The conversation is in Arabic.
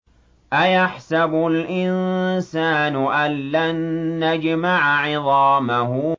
أَيَحْسَبُ الْإِنسَانُ أَلَّن نَّجْمَعَ عِظَامَهُ